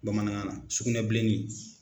Bamanankan na sugunɛbilennin.